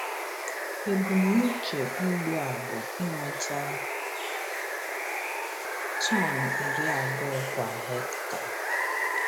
Ebumnuche ugbo a bụ inweta tọn iri abụọ kwa hekta.